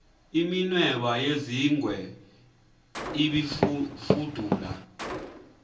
iminweba yezingwe ibifudula